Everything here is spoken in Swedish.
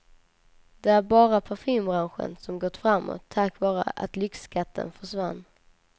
Det är bara parfymbranschen som gått framåt, tack vare att lyxskatten försvann.